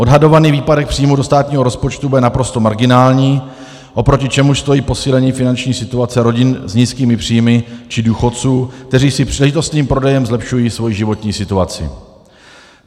Odhadovaný výpadek příjmů do státního rozpočtu bude naprosto marginální, oproti čemuž stojí posílení finanční situace rodin s nízkými příjmy či důchodců, kteří si příležitostným prodejem zlepšují svoji životní situaci.